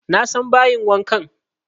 Na san bayin wankan